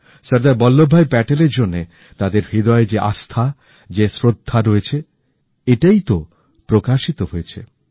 সর্দার বল্লভভাই প্যাটেলের জন্যে তাদের হৃদয়ে যে আস্থা যে শ্রদ্ধা রয়েছে এইটাই তো অভিব্যক্ত হয়েছে